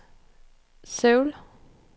Seoul